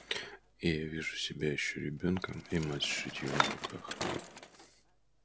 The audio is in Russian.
и я вижу себя ещё ребёнком и мать с шитьём в руках